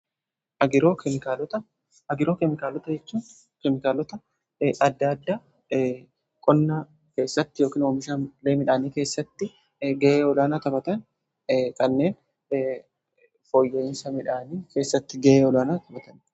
agroo keemikaalota, agiroo keemikaalota jechuu keemikaalota adda adda qonnaa keessatti yookiin hoomishaalee midhaanii keessatti ga'ee olaana taphatan kanneen fooyya'insa midhaanii keessatti ga'ee olaana taphatan.